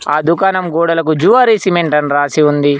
ఆ దుకాణం గోడలకు జువారి సిమెంట్ అని రాసి ఉంది.